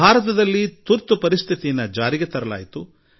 ಭಾರತದಲ್ಲಿ ತುರ್ತು ಪರಿಸ್ಥಿತಿ ಹೇರಲಾಗಿತ್ತು